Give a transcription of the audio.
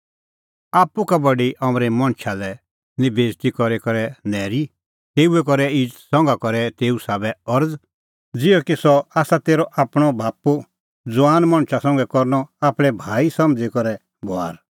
आप्पू का बडी अमरे मणछा निं बेइज़ती करी करै नैरी तेऊए करै इज़त संघा करै एऊ साबै अरज़ ज़िहअ कि सह आसा तेरअ आपणअ बाप्पू ज़ुआन मणछा संघै करनअ आपणैं भाई समझ़ी करै बभार